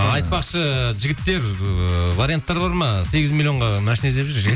айтпақшы жігіттер ыыы варианттар бар ма сегіз миллионға машина іздеп жүр